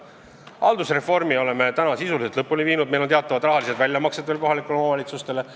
Haldusreformi oleme sisuliselt lõpuni viinud, meil on veel teha teatud rahalised väljamaksed kohalikele omavalitsustele.